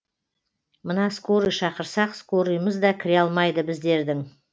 мына скорый шақырсақ скорыйымыз да кіре алмайды біздердің